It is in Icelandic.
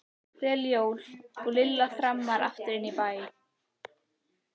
Gleðileg jól. og Lilla þrammaði aftur inn í bæ.